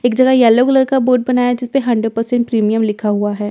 एक जगह yellow colour का बोर्ड बनाया हुआ है जिस पर हंड्रेड परसेंट प्रीमियम लिखा हुआ है।